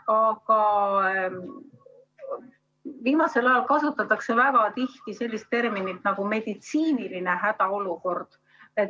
Aga viimasel ajal kasutatakse väga tihti sellist terminit nagu "meditsiiniline hädaolukord".